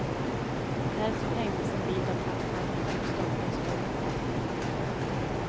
Där sprängdes en bit av plattformen som stolpen står på bort.